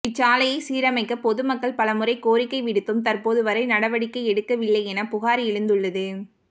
இச்சாலையைச் சீரமைக்க பொதுமக்கள் பலமுறை கோரிக்கை விடுத்தும் தற்போது வரை நடவடிக்கை எடுக்க வில்லையென புகாா் எழுந்துள்ளது